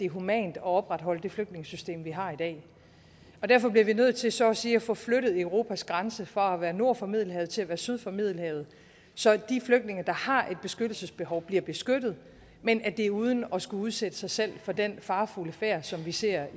humant at opretholde det flygtningesystem vi har i dag derfor bliver vi nødt til så at sige at få flyttet europas grænse fra at være nord for middelhavet til at være syd for middelhavet så de flygtninge der har et beskyttelsesbehov bliver beskyttet men at det er uden at skulle udsætte sig selv for den farefulde færd som vi ser